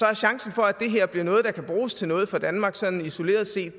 er chancen for at det her bliver noget der kan bruges til noget for danmark sådan isoleret set